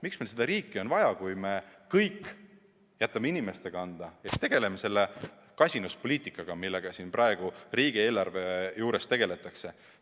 Miks meil seda riiki on vaja, kui me kõik jätame inimeste kanda ja tegeleme selle kasinuspoliitikaga, millega siin praegu riigieelarve juures tegeldakse?